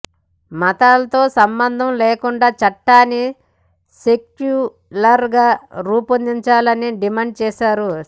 మతాలతో సంబంధం లేకుండా చట్టాన్ని సెక్యులర్ గా రూపొందించాలని డిమాండ్ చేశారు